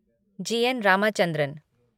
जी. N. Ramachandran